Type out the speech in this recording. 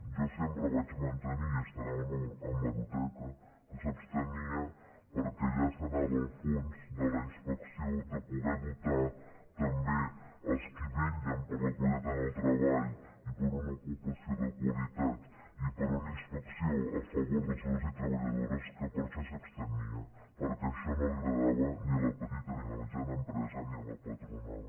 jo sempre vaig mantenir i deu estar a l’hemeroteca que s’abstenia perquè allà s’anava al fons de la inspecció de poder dotar també els qui vetllen per la qualitat en el treball i per una ocupació de qualitat i per una inspecció a favor dels treballadors i treballadores que per això s’abstenia perquè això no agradava ni a la petita ni a la mitjana empresa ni a la patronal